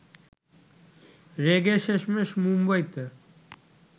রেগে শেষমেশ মুম্বইতে